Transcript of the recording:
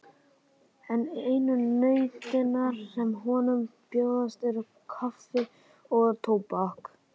En einu nautnirnar sem honum bjóðast eru kaffi og tóbak.